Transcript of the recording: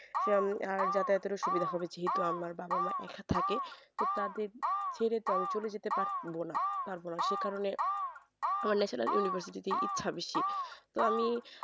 সে আমি আর যাতায়াতের সুবিধা হবে যেহেতু আমার বাবা মা একে থাকে তো তাদের ছেড়ে তো আমি চলে যেতে পারব না তার কারণে national university তেই ইচ্ছা বেশি তো আমি